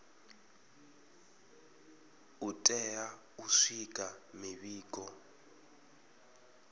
u tea u swikisa mivhigo